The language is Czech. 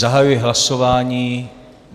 Zahajuji hlasování.